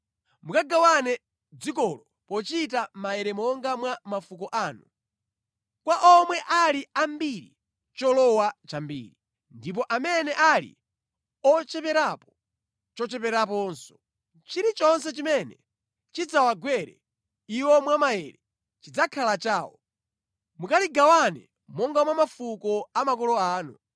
Mukagawane dzikolo pochita maere monga mwa mafuko anu. Kwa omwe ali ambiri, cholowa chambiri, ndipo amene ali ocheperapo, chocheperanso. Chilichonse chimene chidzawagwere iwo mwa maere chidzakhala chawo. Mukaligawane monga mwa mafuko a makolo anu.